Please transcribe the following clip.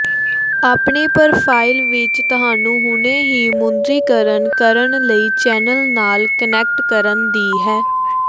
ਆਪਣੀ ਪ੍ਰੋਫ਼ਾਈਲ ਵਿੱਚ ਤੁਹਾਨੂੰ ਹੁਣੇ ਹੀ ਮੁਦਰੀਕਰਨ ਕਰਨ ਲਈ ਚੈਨਲ ਨਾਲ ਕਨੈਕਟ ਕਰਨ ਦੀ ਹੈ